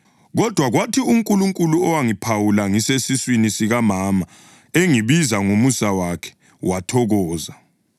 Kodwa kwathi uNkulunkulu owangiphawula ngisesesiswini sikamama engibiza ngomusa wakhe, wathokoza